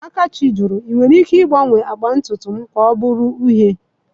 Akachi jụrụ, 'Ị nwere ike ịgbanwe agba ntutu m ka ọ bụrụ uhie?'